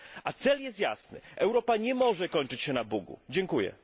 A cel jest jasny Europa nie może kończyć się na Bugu. Dziękuję.